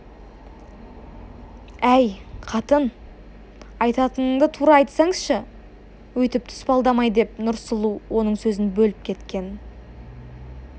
әй қатын айтатыныңды тура айтсаңшы өйтіп тұспалдамай деп нұрсұлу оның сөзін бөліп кеткен